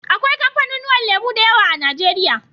Akwai kafanu nuwan lemo dayawa a nigeria